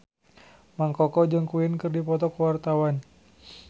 Mang Koko jeung Queen keur dipoto ku wartawan